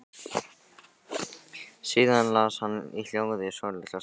Síðan las hann í hljóði svolitla stund.